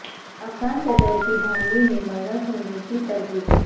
افغان صدر کی دھاندلی میں ملوث ہونے کی تردید